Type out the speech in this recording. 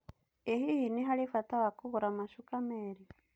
Ĩ hihi nĩ harĩ bata wa kũgũra macuka meerĩ?